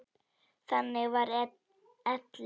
Þannig var Elli.